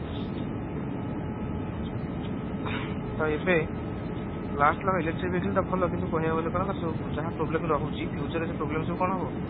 ତ ଏବେ last electric vehicle ଟା ଭଲ କିନ୍ତୁ କହିବାକୁ ଗାଲ କଣ ତାର ସବୁ ଯାହା problem ରହୁଛି future ରେ ଯୋଉ problem କଣ ହେବ